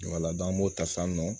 an b'o ta san nɔ